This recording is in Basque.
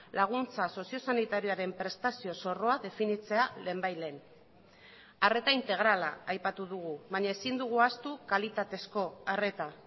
laguntza sozio sanitarioaren prestazio zorroa definitzea lehenbailehen arreta integrala aipatu dugu baina ezin dugu ahaztu kalitatezko arreta